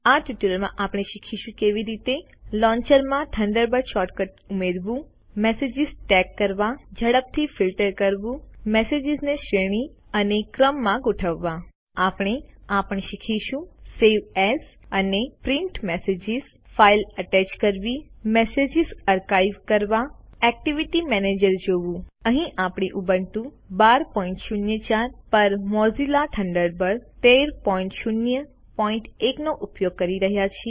આ ટ્યુટોરીયલમાં આપણે શીખશું કે કેવી રીતે લોન્ચર માં થંડરબર્ડ શોર્ટ કટ ઉમેરવું મેસેજીસ ટૅગ કરવા ઝડપથી ફિલ્ટર કરવું મેસેજીસને શ્રેણી અને ક્રમમાં ગોઠવવા આપણે આ પણ શીખીશું સવે એએસ અને પ્રિન્ટ મેસેજીસ ફાઈલ અટેચ કરવી મેસેજીસ આર્કાઇવ કરવા એક્ટિવિટી મેનેજર જોવું અહીં આપણે ઉબુન્ટુ 1204 પર મોઝિલા થન્ડરબર્ડ 1301 નો ઉપયોગ કરી રહ્યા છે